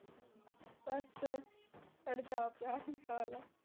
ਬੱਸ ਸਾਡੇ ਤਾਂ ਆਪ ਆਹੀ ਹਾਲ ਆ